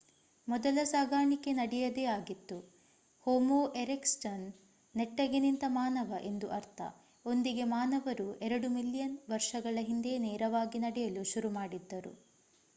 ಮೊದಲ ಸಾಗಾಣಿಕೆ ನಡೆಯುವುದೇ ಆಗಿತ್ತು ಹೋಮೋ ಎರೆಕ್ಟಸ್ ನನೆಟ್ಟಗೆ ನಿಂತ ಮಾನವ ಎಂದು ಅರ್ಥ ಒಂದಿಗೆ ಮಾನವರು ಎರಡು ಮಿಲಿಯನ್ ವರ್ಷಗಳ ಹಿಂದೆಯೇ ನೇರವಾಗಿ ನಡೆಯಲು ಶುರು ಮಾಡಿದ್ದರು